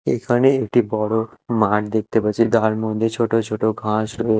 এখানে একটি বড় মাঠ দেখতে পাচ্ছি তার মধ্যে ছোট ছোট ঘাস ও--